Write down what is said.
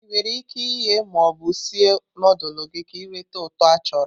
Ị nwere ike ighe ma ọ bụ sie nudulu gị ka ị nweta uto achọrọ.